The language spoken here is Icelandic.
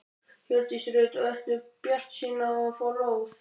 Hjördís Rut: Og ertu bjartsýn á að fá lóð?